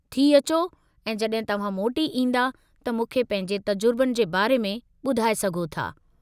थी अ‍चो ऐं जॾहिं तव्हां मोटी ईंदा त मूंखे पंहिंजे तजुर्बनि जे बारे में ॿुधाए सघो था।